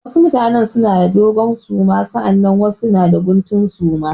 Wasu mutane suna da dogon suma sannan wasu mutane suna da guntun suma.